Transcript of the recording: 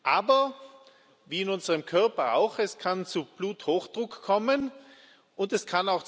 Aber wie in unserem Körper auch kann es